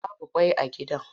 Babu ƙwai a gidan.